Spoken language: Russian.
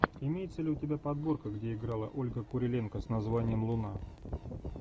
имеется ли у тебя подборка где играла ольга куриленко с названием луна